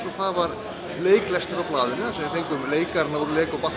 og það var leiklestur á blaðinu þar sem þau fengum leikarana úr Lego